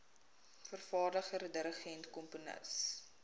vervaardiger dirigent komponis